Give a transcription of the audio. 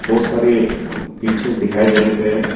बोहोत सारी पीछे दिखाई देने पे--